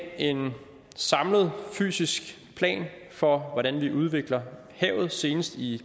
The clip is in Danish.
en samlet fysisk plan for hvordan vi udvikler havet senest i